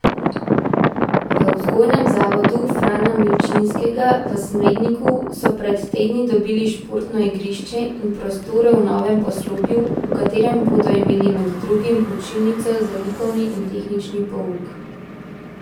V vzgojnem zavodu Frana Milčinskega v Smledniku so pred tedni dobili športno igrišče in prostore v novem poslopju, v katerem bodo imeli med drugim učilnico za likovni in tehnični pouk.